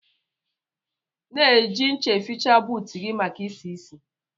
Na eji ncha eficha buut gi maka isi-isi